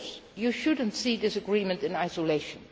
too. Of course you should not see this agreement in isolation.